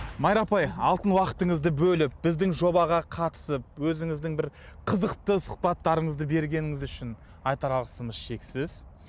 майра апай алтын уақытыңызды бөліп біздің жобаға қатысып өзіңіздің бір қызықты сұхбаттарыңызды бергеніңіз үшін айтар алғысымыз шексіз